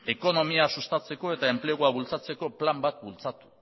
ekonomia sustatzeko eta enplegua bultzatzeko plan bat bultzatu